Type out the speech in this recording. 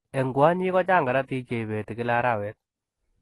Eng kwonyiik, kochaang korotik cheipetii eng kila araweet.